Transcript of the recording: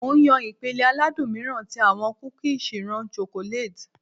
Mo n yan ipele aladun miiran ti awọn kuki chirún chocolate.